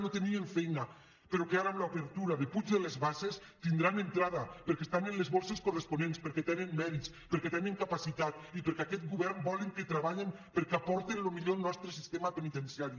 no tenien feina però que ara amb l’obertura de puig de les basses tindran entrada perquè estan en les borses corresponents perquè tenen mèrits perquè tenen capacitat i perquè aquest govern vol que treballen perquè aporten el millor al nostre sistema penitenciari